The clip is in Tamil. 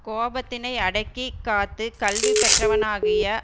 கோபத்தினை அடக்கி காத்து கல்வி பெற்றவனாகிய